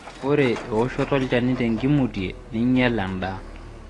Ore ewoshoto olchani tenkimutie neinyal endaa